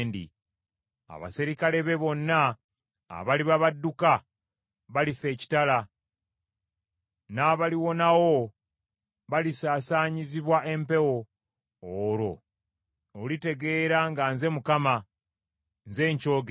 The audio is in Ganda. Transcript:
Abaserikale be bonna abaliba badduka, balifa ekitala, n’abaliwonawo balisaasaanyizibwa empewo; olwo olitegeera nga nze Mukama , nze nkyogedde.